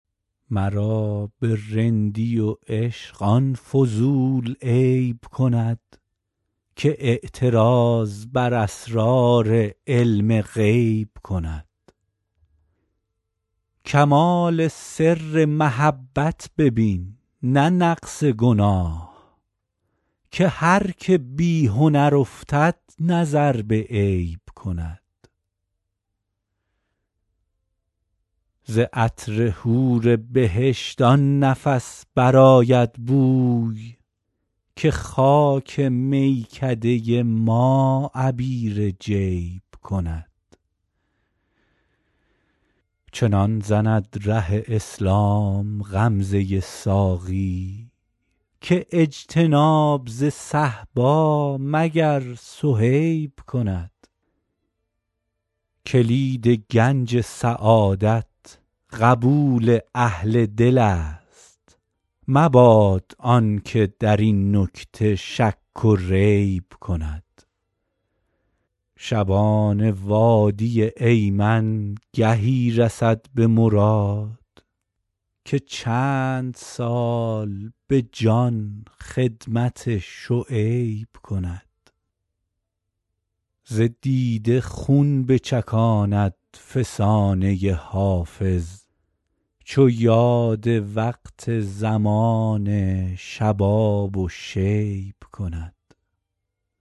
مرا به رندی و عشق آن فضول عیب کند که اعتراض بر اسرار علم غیب کند کمال سر محبت ببین نه نقص گناه که هر که بی هنر افتد نظر به عیب کند ز عطر حور بهشت آن نفس برآید بوی که خاک میکده ما عبیر جیب کند چنان زند ره اسلام غمزه ساقی که اجتناب ز صهبا مگر صهیب کند کلید گنج سعادت قبول اهل دل است مباد آن که در این نکته شک و ریب کند شبان وادی ایمن گهی رسد به مراد که چند سال به جان خدمت شعیب کند ز دیده خون بچکاند فسانه حافظ چو یاد وقت زمان شباب و شیب کند